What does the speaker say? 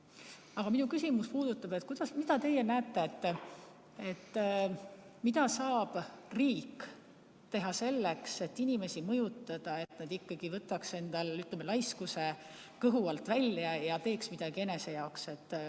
Aga minu küsimus puudutab seda, kuidas teie näete, mida saab riik teha selleks, et inimesi mõjutada, et nad ikkagi võtaks endal, ütleme, laiskuse kõhu alt välja ja teeks midagi enese jaoks.